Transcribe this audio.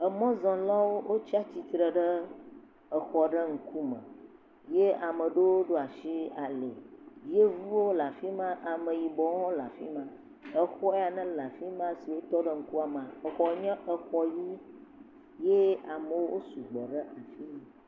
Emɔzɔlawo wotsi atsitre ɖe exɔ aɖe ŋku me ye ame aɖewo ɖo asi ali. Yevuwo le afi ma ameyibɔwo hã le afi ma. Exɔ ya nele afi ma si wotɔ ɖe ŋkua mea exɔ nye exɔ ʋi ye ye amewo wo sugbɔ ɖe eŋkume.